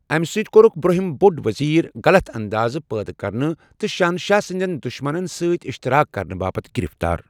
امہِ سۭتۍ كورُكھ برٛونٛہم بۄڈ وزیر غلط اندازٕ پٲدٕ كرنہٕ تہٕ شہنشاہ سٕندٮ۪ن دُشمنن سۭتۍ اِشتعراق كرنہٕ باپتھ گِرِفتار۔